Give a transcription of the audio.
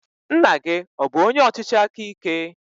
Nna gị ọ bụ onye ọchịchị aka ike?